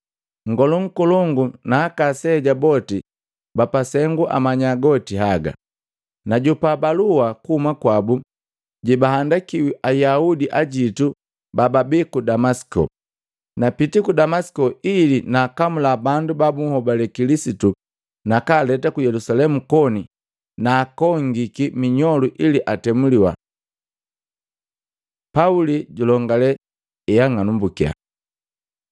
Nngolu nkolongu na aka aseja boti bapasengu amanya goti haga. Najopa balua kuhuma kwabu jeba handikiwi Ayaudi ajitu bababi ku Damasiko. Napiti ku Damasiko ili naakamula bandu ba bunhobali Kilisitu nakaaleta ku Yelusalemu koni naakongiki minyolu ili atemuliwa.” Pauli julongale heang'anambukiya Matei 9:1-19; 26:12-18